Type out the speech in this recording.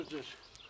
Bardır.